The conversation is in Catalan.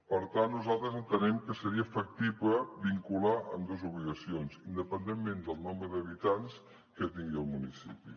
per tant nosaltres entenem que seria factible vincular ambdues obligacions independentment del nombre d’habitants que tingui el municipi